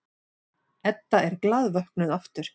Edda er glaðvöknuð aftur.